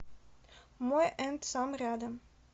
мой энд сам рядом